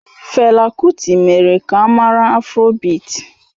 Fela kuti mere ka a mara afrobịti